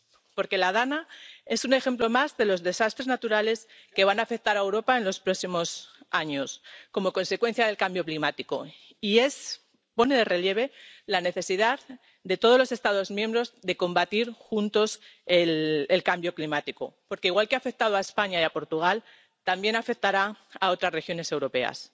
Porque la DANA es un ejemplo más de los desastres naturales que van a afectar a Europa en los próximos años como consecuencia del cambio climático y pone de relieve la necesidad de que todos los Estados miembros combatan juntos el cambio climático, porque igual que ha afectado a España y a Portugal también afectará a otras regiones europeas.